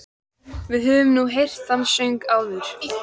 Við höfum nú heyrt þann söng áður.